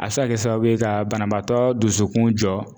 A be se ka kɛ sababu ye ka banabaatɔ dusukun jɔ